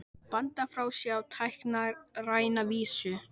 Bandar frá sér á táknræna vísu.